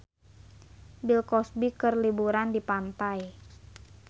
Bill Cosby keur liburan di pantai